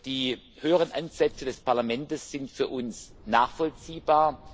Die höheren Ansätze des Parlamentes sind für uns nachvollziehbar.